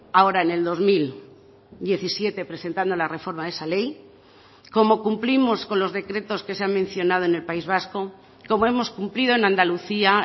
ahora en el dos mil diecisiete presentando la reforma de esa ley como cumplimos con los decretos que se han mencionado en el país vasco como hemos cumplido en andalucía